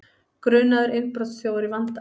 Grunaður innbrotsþjófur í vanda